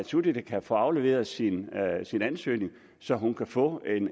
suthida kan få afleveret sin ansøgning så hun kan få